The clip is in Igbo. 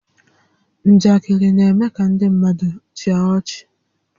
Njakịrị na-eme kà ndị mmadụ chịa ọchị